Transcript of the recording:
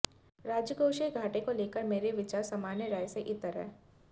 राजकोषीय घाटे को लेकर मेरा विचार सामान्य राय से इतर है